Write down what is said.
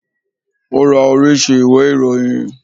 O ra oríṣi ìwé ìròyìn.